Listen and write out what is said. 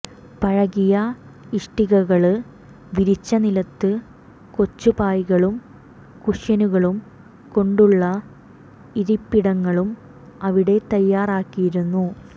പഴകിയ ഇഷ്ടികകള് വിരിച്ച നിലത്ത് കൊച്ചുപായകളും കുഷ്യനുകളും കൊണ്ടുള്ള ഇരിപ്പിടങ്ങളും അവിടെ തയാറാക്കിയിരുന്നു